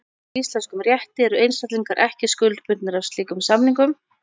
Samkvæmt íslenskum rétti eru einstaklingar ekki skuldbundnir af slíkum samningum.